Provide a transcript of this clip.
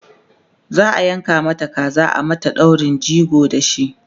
za'a yanka Mata kaza a mata daurin jego da shi